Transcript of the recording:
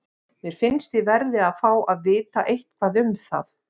Mér finnst ég verði að fá að vita eitthvað um það.